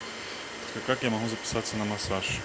как я могу записаться на массаж